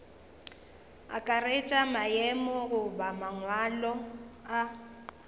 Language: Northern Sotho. akaretša maemo goba mangwalo a